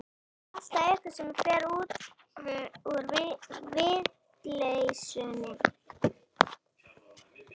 Það er alltaf einhver sem fer vel út úr vitleysunni.